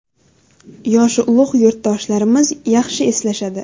Yoshi ulug‘ yurtdoshlarimiz yaxshi eslashadi.